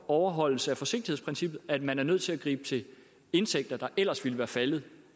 overholdelse af forsigtighedsprincippet at man er nødt til at gribe til indtægter der ellers ville være faldet